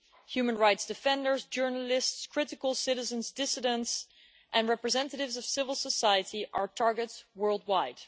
Human rights defenders, journalists, critical citizens, dissidents and representatives of civil society are targets worldwide.